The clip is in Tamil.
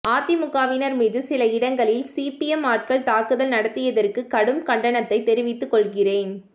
அதிமுகவினர் மீது சில இடங்களில் சிபிஎம் ஆட்கள் தாக்குதல் நடத்தியதற்கு கடும் கண்டனத்தை தெரிவித்துக் கொள்கிறேன்